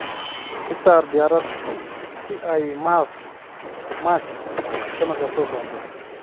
I saaray diyaarad si ay mars sanadka soo socda